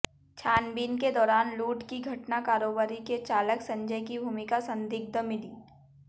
छानबीन के दौरान लूट की घटना कारोबारी के चालक संजय की भूमिका संदिग्ध मिली